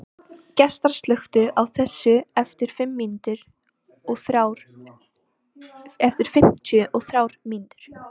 Gestar, slökktu á þessu eftir fimmtíu og þrjár mínútur.